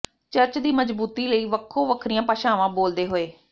church ਦੀ ਮਜ਼ਬੂਤੀ ਲਈ ਵੱਖੋ ਵੱਖਰੀਆਂ ਭਾਸ਼ਾਵਾਂ ਬੋਲਦੇ ਹੋਏ